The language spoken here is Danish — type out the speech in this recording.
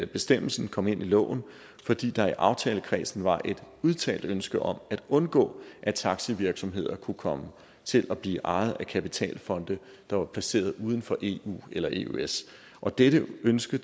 bestemmelsen kom ind i loven fordi der i aftalekredsen var et udtalt ønske om at undgå at taxivirksomheder kunne komme til at blive ejet af kapitalfonde der var placeret uden for eu eller eøs og dette ønske